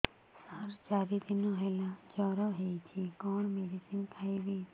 ସାର ଚାରି ଦିନ ହେଲା ଜ୍ଵର ହେଇଚି କଣ ମେଡିସିନ ଖାଇବି